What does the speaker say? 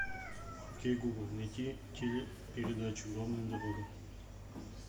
окей гугл найти телепередачу главная дорога